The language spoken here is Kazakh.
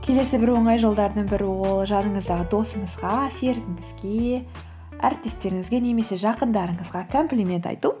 келесі бір оңай жолдарының бірі ол жаныңыздағы досыңызға серігіңізге әріптестеріңізге немесе жақындарыңызға комплимент айту